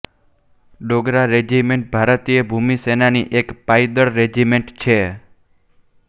Dogra regiment ભારતીય ભૂમિસેનાની એક પાયદળ રેજિમેન્ટ છે